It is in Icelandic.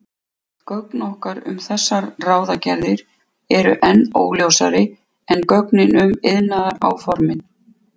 Gögn okkar um þessar ráðagerðir eru enn óljósari en gögnin um iðnaðaráformin.